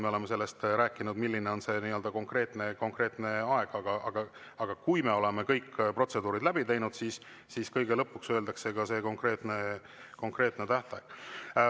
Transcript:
Me oleme sellest rääkinud, milline on see konkreetne aeg, aga kui me oleme kõik protseduurid läbi teinud, siis kõige lõpuks öeldakse ka see konkreetne tähtaeg.